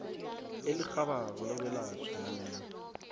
elirhabako lokwelatjhwa nanyana